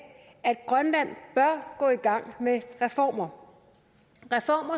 at grønland bør gå i gang med reformer